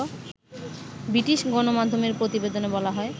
British গণমাধ্যমের প্রতিবেদনে বলা হয়